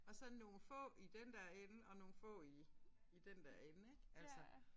Og så nogle få i den der ende og nogle få i i den der ende ik altså